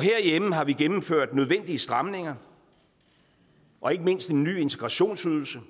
herhjemme har vi gennemført nødvendige stramninger og ikke mindst en ny integrationsydelse